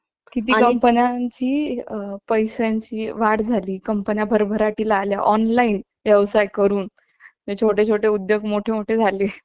आपण ते phone वर तुमहाला सांगतील ज्याच्यात fourg network आहे त्याच्यापेक्षा चांगला द्या फक्त network चा फरक आहे पण त्या mobile यामध्ये तुमची फायदे लागणार नाही असा condition मध्ये तुम्हाला highspeed data